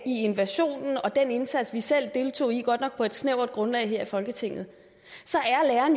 i invasionen og den indsats vi selv deltog i godt nok på et snævert grundlag her i folketinget så